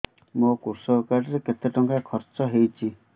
ମୋ କୃଷକ କାର୍ଡ ରେ କେତେ ଟଙ୍କା ଖର୍ଚ୍ଚ ହେଇଚି